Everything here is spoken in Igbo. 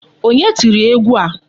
Onye tiri egwu a?